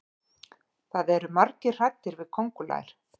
það eru margir hræddir við köngulær